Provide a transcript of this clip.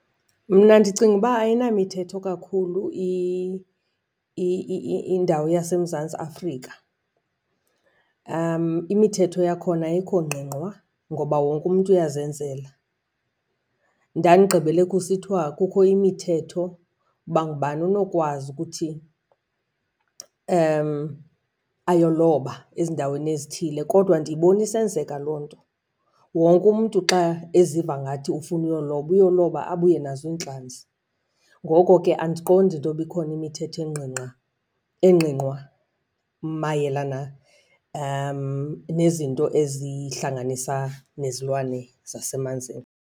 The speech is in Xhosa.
Mna ndicinga uba ayinamthetho kakhulu indawo yaseMzantsi Afrika. Imithetho yakhona ayikho ngqingqwa ngoba wonke umntu uyazenzela. Ndandigqibele kusithiwa kukho imithetho uba ngubani onokwazi ukuthi ayoloba ezindaweni ezithile kodwa ndiyibona isenzeka loo nto. Wonke umntu xa eziva ngathi ufuna uyoloba, uyoloba abuye nazo iintlanzi. Ngoko ke andiqondi intoba ikhona imithetho engqingqwa mayelana nezinto izihlanganisa nezilwane zasemanzini.